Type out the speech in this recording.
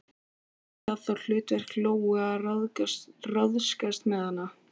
Yrði það þá hlutverk Lóu að ráðskast með hana?